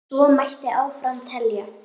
Svo mætti áfram telja.